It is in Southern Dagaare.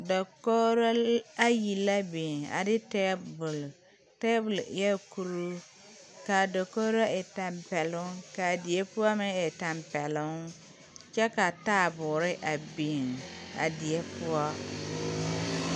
Dakogro ayi la biŋ ane tabole tabole eɛɛ kuruu kaa dakogro e tampɛloŋ kaa die poɔ meŋ e tampɛloŋ kyɛ ka taaboore a biŋ a die poɔ.